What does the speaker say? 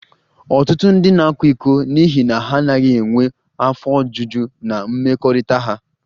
Ọtụtụ ndị na-akwa iko n'ihi na ha anaghị enwe afọ ojuju na mmekọrịta ha